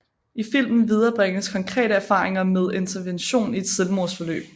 I filmen viderebringes konkrete erfaringer med intervention i et selvmordsforløb